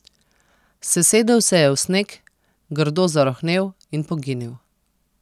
Sesedel se je v sneg, grdo zarohnel in poginil.